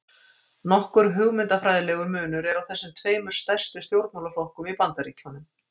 Nokkur hugmyndafræðilegur munur er á þessum tveimur stærstu stjórnmálaflokkum í Bandaríkjunum.